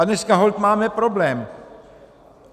A dneska holt máme problém.